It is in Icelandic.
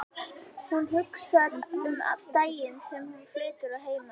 Hún hugsar um daginn sem hún flytur að heiman.